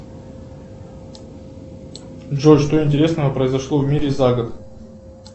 джой что интересного произошло в мире за год